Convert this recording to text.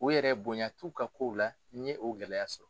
O yɛrɛ bonya t'u ka kow la n ye o gɛlɛya sɔrɔ.